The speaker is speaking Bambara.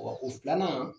o filanan